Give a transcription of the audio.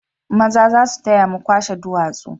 Maza za su taya mu kwashe duwatsu